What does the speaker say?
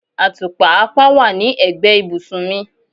Atupa apá wá ní egbe ibùsùn mì